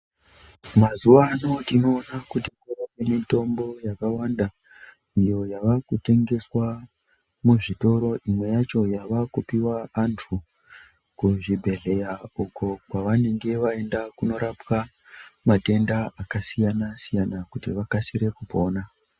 Mazuva ano tinoona kuti kune mitombo yakawanda iyo yavakutengeswa muzvitoro imwe yacho yakupihwa antu kuzvibhedhlera uko kwavanenge vaenda korapwa matenda akasiyana siyana kuti vakasire kupona.